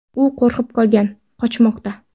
U qo‘rqib qolgan, qochmoqda.